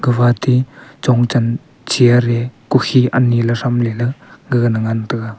gafate chongchan chair e kukhi ani ley thramley la gaga na ngan taiga.